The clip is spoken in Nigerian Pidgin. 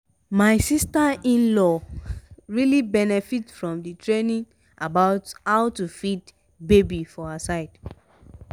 my sister-in-law really benefit from the training about how to feed baby for her side.